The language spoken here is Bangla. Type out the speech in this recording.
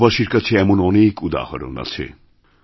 দেশবাসীর কাছে এমন অনেক উদাহরণ আছে